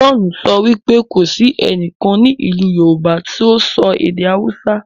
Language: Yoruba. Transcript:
John sọ wípé kò sí ẹnìkan ní ilú yorùbá ti sọ èdè hausa.